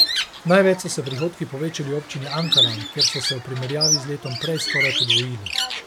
Največ so se prihodki povečali v občini Ankaran, kjer so se v primerjavi z letom prej skoraj podvojili.